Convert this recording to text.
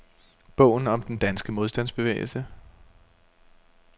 Bogen om den danske modstandsbevægelse.